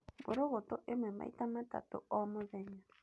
Mbũrũgũtũ ĩmwe maita matatũ o mũthenya.